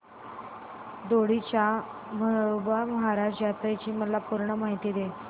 दोडी च्या म्हाळोबा महाराज यात्रेची मला पूर्ण माहिती दे